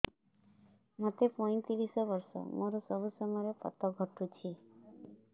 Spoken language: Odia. ମୋତେ ପଇଂତିରିଶ ବର୍ଷ ମୋର ସବୁ ସମୟରେ ପତ ଘଟୁଛି